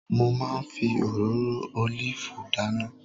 Mo máa ń fi òróró ólìfù dáná